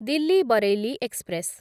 Delhi Bareilly express